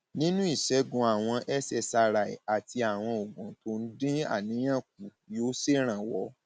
nínú ìṣègùn àwọn cs] ssri àti àwọn oògùn tó ń dín àníyàn kù yóò ṣèrànwọ